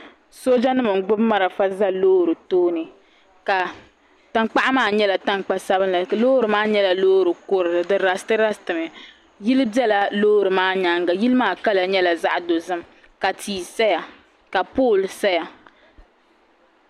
Sooja nim n gbubi marafa nima n za loori tooni ka tankpaɣu maa yɛla tankpa sabinli loori maa yɛla loori kurili di rasiti rasiti mi yili bɛla loori maa yɛanga yili maa kala yɛla zaɣi dozim ka tii saya ka polli saya.